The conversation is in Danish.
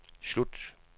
slut